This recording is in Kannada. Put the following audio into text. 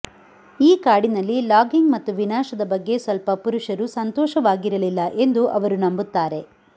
ಈ ಕಾಡಿನಲ್ಲಿ ಲಾಗಿಂಗ್ ಮತ್ತು ವಿನಾಶದ ಬಗ್ಗೆ ಸ್ವಲ್ಪ ಪುರುಷರು ಸಂತೋಷವಾಗಿರಲಿಲ್ಲ ಎಂದು ಅವರು ನಂಬುತ್ತಾರೆ